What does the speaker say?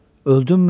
Öldümmü?